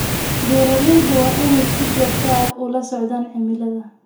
Beeralayda waa inay si joogto ah ula socdaan cimilada.